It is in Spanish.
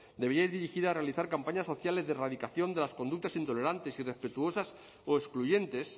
debería ir dirigida a realizar campañas sociales de erradicación de las conductas intolerantes irrespetuosas o excluyentes